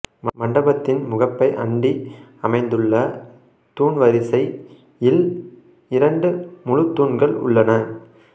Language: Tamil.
மண்டபத்தின் முகப்பை அண்டி அமைந்துள்ள தூண்வரிசையில் இரண்டு முழுத்தூண்கள் உள்ளன